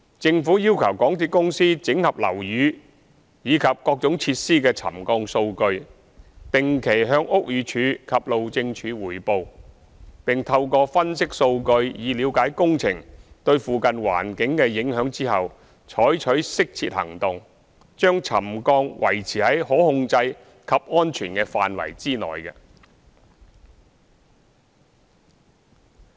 政府要求港鐵公司整合樓宇及各種設施的沉降數據，定期向屋宇署及路政署匯報，並透過分析數據以了解工程對附近環境的影響後，採取適切的行動，將沉降維持在可控制及安全的範圍內。